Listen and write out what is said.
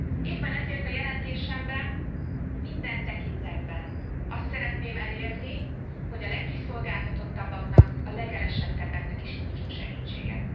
Éppen ezért a jelentésemben, minden tekintetben azt szeretném elérni, hogy a legkiszolgáltatottabbaknak, a legelesettebbeknek is nyújtsunk segítséget.